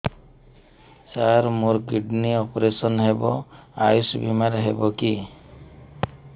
ସାର ମୋର kidney operation Ayush ଆୟୁଷ ବିମାରେ ହେବ କି